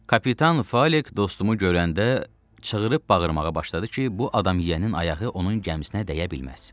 Kapitan Falik dostumu görəndə çığırıb bağırmağa başladı ki, bu adam yənin ayağı onun gəmisinə dəyə bilməz.